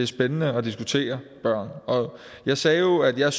spændende at diskutere børn jeg sagde jo at jeg